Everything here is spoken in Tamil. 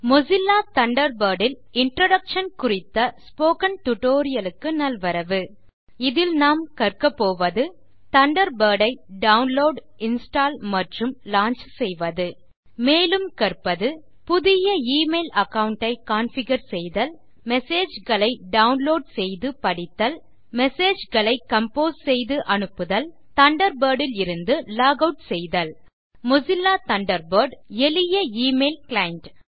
மொசில்லா தண்டர்பர்ட் இல் இன்ட்ரோடக்ஷன் குறித்த டுடோரியலுக்கு நல்வரவு இதில் நாம் கற்கப்போவது தண்டர்பர்ட் ஐ டவுன்லோட் இன்ஸ்டால் மற்றும் லாஞ்ச் செய்வது மேலும் கற்பது புதிய எமெயில் அகாவுண்ட் ஐ கான்ஃபிகர் செய்தல் மெசேஜ் களை டவுன்லோட் செய்து படித்தல் மெசேஜ் களை கம்போஸ் செய்து அனுப்புதல் தண்டர்பர்ட் இலிருந்து லாக் ஆட் செய்தல் மொசில்லா தண்டர்பர்ட் எளிய எமெயில் கிளைண்ட்